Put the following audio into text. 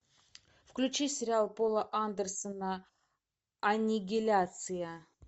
включи сериал пола андерсона аннигиляция